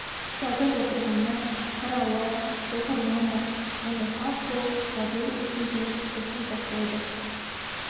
жазып отырғаны тарауы оқырман да оны тап сол жазылу үстінде оқи бастайды